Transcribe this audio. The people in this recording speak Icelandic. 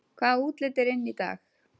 Hvaða útlit er inn í dag